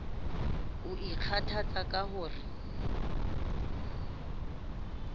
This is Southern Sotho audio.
o ikgothatsa ka ho re